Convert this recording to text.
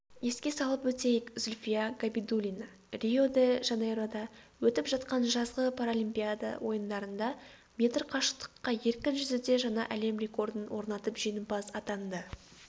еске салып өтейік зүлфия габидуллина рио-де-жанейрода өтіп жатқан жазғы паралимпиада ойындарында метр қашықтыққа еркін жүзуде жаңа әлем рекордын орнатып жеңімпаз атанды